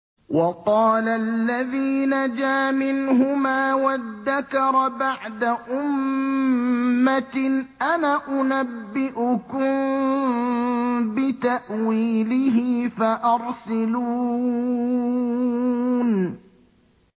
وَقَالَ الَّذِي نَجَا مِنْهُمَا وَادَّكَرَ بَعْدَ أُمَّةٍ أَنَا أُنَبِّئُكُم بِتَأْوِيلِهِ فَأَرْسِلُونِ